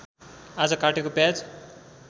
आज काटेको प्याज